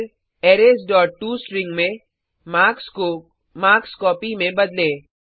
फिर arrays dot to string में marks को मार्क्स कॉपी में बदलें